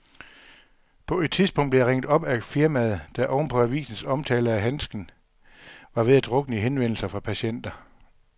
På et tidspunkt blev jeg ringet op af firmaet, der oven på avisens omtale af handsken var ved at drukne i henvendelser fra patienter.